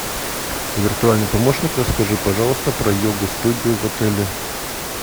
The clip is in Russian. виртуальный помощник расскажи пожалуйста про йога студию в отеле